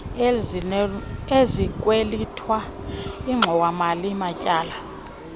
ezikwelitwa ingxowamali matyala